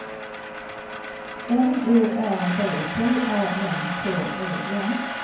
N O R D B A N K E N